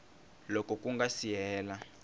loko ku nga si hela